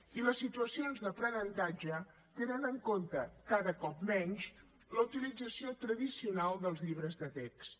i les situacions d’aprenentatge tenen en compte cada cop menys la utilització tradicional dels llibres de text